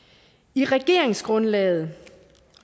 i regeringsgrundlaget